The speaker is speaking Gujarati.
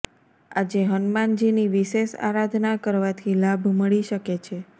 આજે હનુમાનજીની વિશેષ આરાધના કરવાથી લાભ મળી શકે છે